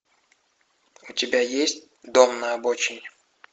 у тебя есть дом на обочине